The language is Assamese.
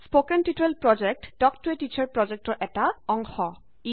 spoken tutorial project talk to a teacher প্ৰজেক্টৰ অংশ